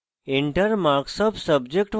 enter marks of subject1